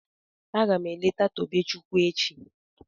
Agam eleta Tobechukwu echi